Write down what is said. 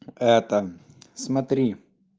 это смотри